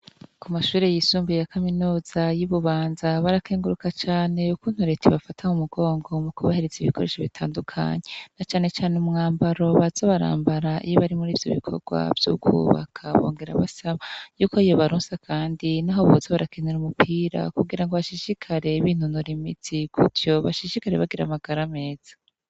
Ku mashure yisumbiye ya kaminuza yi Bubanza barakenguruka cane kuntu reta bafataho umugongo mu kubahereza ibikoresho bitandukanye na cyane cyane umwambaro baza barambara bari muri ivyo bikorwa vy'ukubaka bongera basaba y'uko iyo balunsa kandi n'aho bubatse barakenera umupira kugira ngo bashishikare b'intunura imiti kutyo bashishikare bagira amagara ameza.